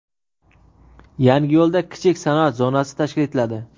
Yangiyo‘lda kichik sanoat zonasi tashkil etiladi.